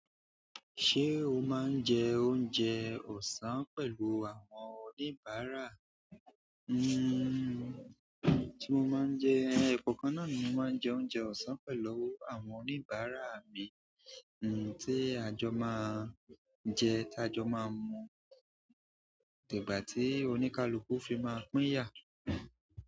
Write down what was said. Ṣé o máa ń jẹ oúnjẹ ọ̀sán pẹ̀lú àwọn oníbàárà? Nnn tí mo máa ń jẹ, ẹ̀kọ̀kan náà ni mo máa ń jẹ oúnjẹ ọ̀sán pẹ̀lú àwọn oníbàárà mi, n tí àjọ máa jẹ, tí àjọ máa ń mú dìgbà tí oníkálukú fi máa pín yà.